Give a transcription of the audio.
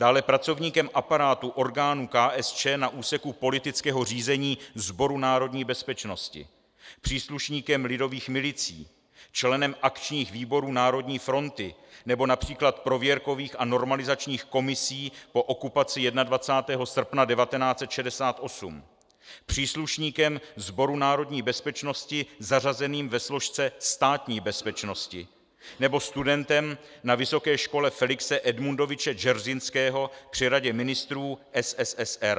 Dále pracovníkem aparátu orgánu KSČ na úseku politického řízení Sboru národní bezpečnosti, příslušníkem Lidových milicí, členem akčních výborů Národní fronty nebo například prověrkových a normalizačních komisí po okupaci 21. srpna 1968, příslušníkem Sboru národní bezpečnosti zařazeným ve složce Státní bezpečnosti nebo studentem na vysoké škole Felixe Edmundoviče Dzeržinského při radě ministrů SSSR.